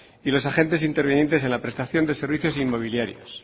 y los agentes intervinientes en la prestación de servicios inmobiliarios